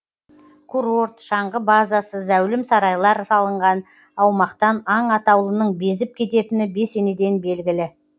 курорт шаңғы базасы зәулім сарайлар салынған аумақтан аң атаулының безіп кететіні бесенеден белгілі